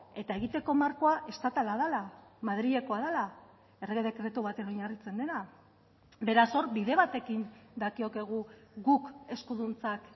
eta egiteko markoa estatala dela madrilekoa dela errege dekretu baten oinarritzen dena beraz hor bide bat ekin dakiokegu guk eskuduntzak